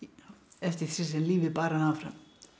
eftir því sem lífið bar hana áfram